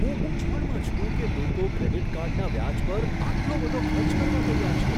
હું મૂંઝવણમાં છું કે લોકો ક્રેડિટ કાર્ડના વ્યાજ પર આટલો બધો ખર્ચ કરવા તૈયાર છે.